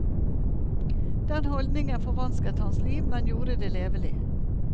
Den holdningen forvansket hans liv, men gjorde det levelig.